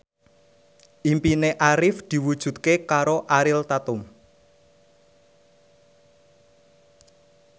impine Arif diwujudke karo Ariel Tatum